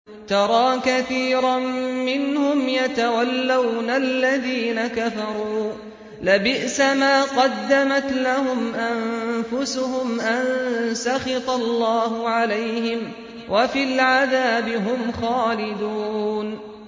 تَرَىٰ كَثِيرًا مِّنْهُمْ يَتَوَلَّوْنَ الَّذِينَ كَفَرُوا ۚ لَبِئْسَ مَا قَدَّمَتْ لَهُمْ أَنفُسُهُمْ أَن سَخِطَ اللَّهُ عَلَيْهِمْ وَفِي الْعَذَابِ هُمْ خَالِدُونَ